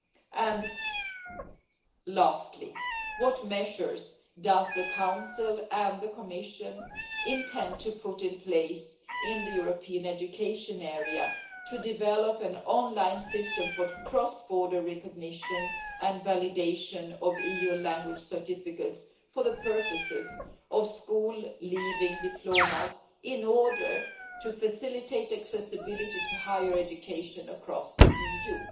And lastly, what measures does the Council and the Commission intend to put in place in the European education area to develop an online system for the cross border recognition and validation of EU language certificates for the purposes of school leaving diplomas in order to facilitate accessibility to higher education across the EU?